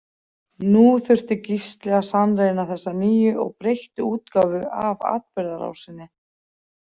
Nú þurfti Gísli að sannreyna þessa nýju og breyttu útgáfu af atburðarásinni.